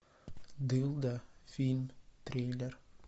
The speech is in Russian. дылда фильм триллер